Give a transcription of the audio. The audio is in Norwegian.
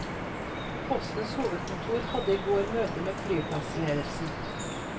Postens hovedkontor hadde i går møte med flyplassledelsen.